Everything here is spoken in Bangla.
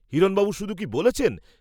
হিরণবাবু শুধু কি বলেছেন?